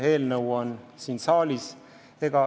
See eelnõu on siin saalis.